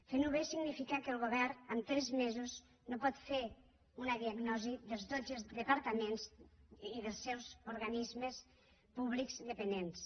fent ho bé significa que el govern en tres mesos no pot fer una diagnosi de tots els departaments i dels seus organismes públics dependents